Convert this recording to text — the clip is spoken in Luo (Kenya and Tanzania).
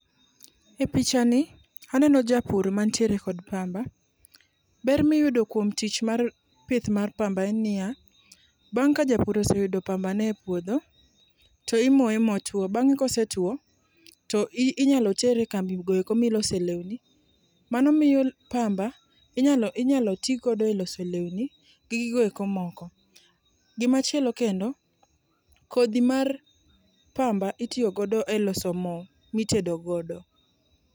E picha ni, aneno japur mantiere kod pamba. Ber miyudo kuom tich mar pith mar pamba en niya, bang' ka japur ose yudo pambane e puodho, to imoye motwo. Bang' kosetwo to inyalo tere e kambi goeko milose lewni. Mano miyo pamba inyalo inyalo tigo eloso lewni gi gigo eki moko. Gima chielo kendo, kodhi mar pamba itiyo godo eloso mo mitedo godo.